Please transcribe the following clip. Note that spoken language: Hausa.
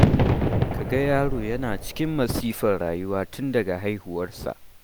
Ka ga yaro yana cikin masifar rayuwa tun daga haihuwarsa.